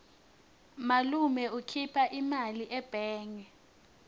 malume ukhipha imali ebhange